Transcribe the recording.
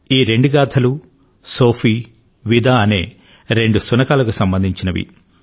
ఈ రెండు గాథలు సోఫీ విదా అనే రెండు శునకాలకు సంబంధించినవి